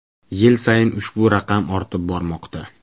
Yil sayin ushbu raqam ortib bormoqda.